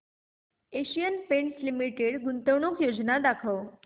Asian Paints Limited गुंतवणूक योजना दाखव